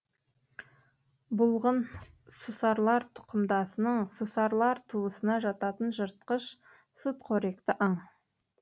бұлғын сусарлар тұқымдасының сусарлар туысына жататын жыртқыш сүтқоректі аң